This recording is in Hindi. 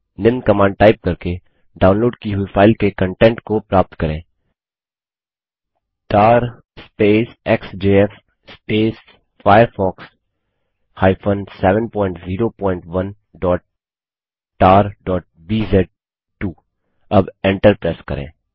निम्न कमांड टाइप करके डाउनलोड की हुई फाइल के कंटेंट का प्राप्त करें160tar एक्सजेएफ firefox 701tarबीज़2 अब एन्टर प्रेस करें